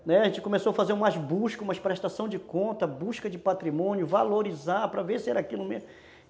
Né, a gente começou a fazer umas buscas, umas prestações de contas, busca de patrimônio, valorizar, para ver se era aquilo mesmo.